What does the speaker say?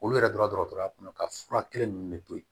Olu yɛrɛ don dɔgɔtɔrɔya kɔnɔ ka fura kelen ninnu de to yen